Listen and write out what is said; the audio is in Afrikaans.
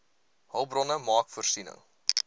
hulpbronne maak voorsiening